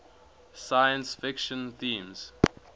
science fiction themes